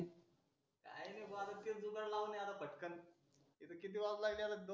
काही नाही बा तेच दुकान लावणे पटकन हे किती त्याला